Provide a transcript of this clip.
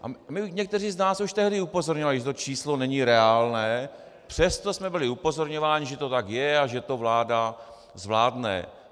A někteří z nás už tehdy upozorňovali, že to číslo není reálné, přesto jsme byli upozorňováni, že to tak je a že to vláda zvládne.